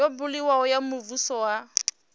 yo buliwaho ya muvhuso ya